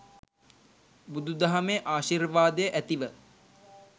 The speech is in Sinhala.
බුදුදහමේ ආශිර්වාදය ඇතිව